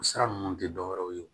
O sira ninnu tɛ dɔ wɛrɛ ye